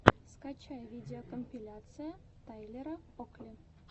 скачай видеокомпиляция тайлера окли